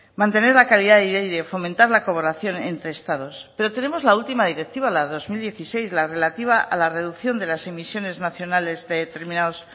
mantener la calidad del aire y de fomentar la colaboración entre los estados pero tenemos la última directiva la dos mil dieciséis la relativa a la reducción de las emisiones nacionales de determinados